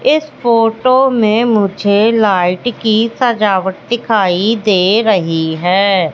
इस फोटो में मुझे लाइट की सजावट दिखाई दे रहीं हैं।